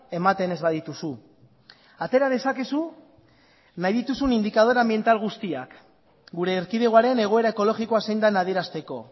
ematen ez badituzu atera dezakezu nahi dituzun indikadore anbiental guztiak gure erkidegoaren egoera ekologikoa zein den adierazteko